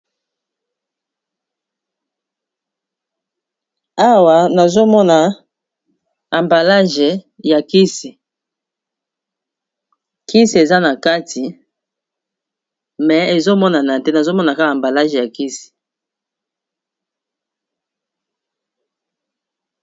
awa nazomona ambalage ya kisi kisi eza na kati me ezomonana te nazomona kaka ambalage ya kisi